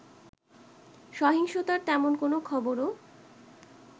সহিংসতার তেমন কোনো খবরও